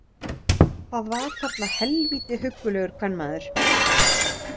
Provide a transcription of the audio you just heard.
Það var þarna helvíti huggulegur kvenmaður.